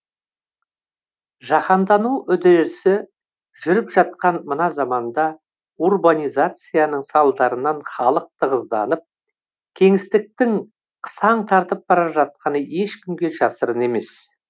жаһандану үдерісі жүріп жатқан мына заманда урбанизацияның салдарынан халық тығызданып кеңістіктің қысаң тартып бара жатқаны ешкімге жасырын емес